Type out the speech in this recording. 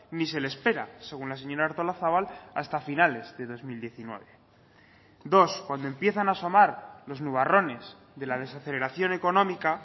ni se le espera según la señora artolazabal hasta finales de dos mil diecinueve dos cuando empiezan a asomar los nubarrones de la desaceleración económica